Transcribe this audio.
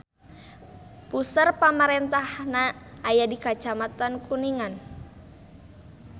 Puseur pamarentahanna aya di Kacamatan Kuningan.